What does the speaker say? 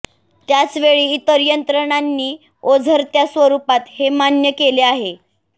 त्याचवेळी इतर यंत्रणांनी ओझरत्या स्वरुपात हे मान्य केले आहे